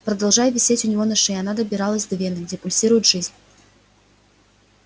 продолжая висеть у него на шее она добиралась до вены где пульсирует жизнь